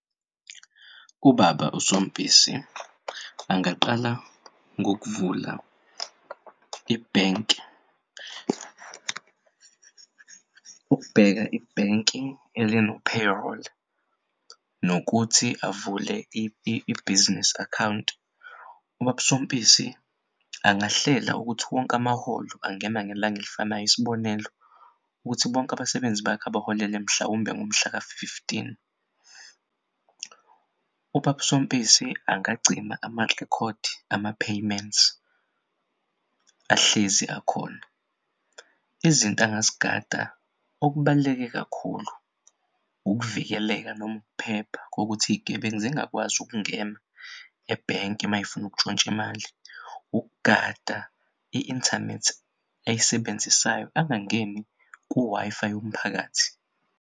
UBaba uSompisi angaqala ngokuvula ibhenki ukubheka i-banking elino-payroll nokuthi avule i-business account. UBaba Sompisi angahlela ukuthi wonke amaholo angene ngelang'elifanayo, isibonelo ukuthi bonke abasebenzi bakho abaholele mhlawumbe ngomhlaka-fifteen. UBab'Sompisi angagcina amarekhodi, ama-payments ahlezi akhona. Izinto angazigada okubaluleke kakhulu ukuvikeleka noma ukuphepha kokuthi iy'gebengu zingakwazi ukungena ebhenki may'fun'ukutshontsh'imali, ukugada i-inthanethi ayisebenzisayo angangeni ku-Wi-Fi yomphakathi.